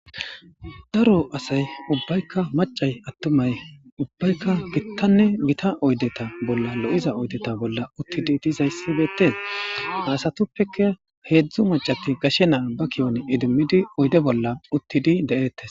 daro asay ubbaykka macay attumay ubbaykka gittanne gita oydeta bolla lo'iza oydeta bolla uttidi dizayssi beettee ha asatuppeke heedzdzu macati gashe naa ba kiyon idimmidi oyde bolla uttidi de'eettes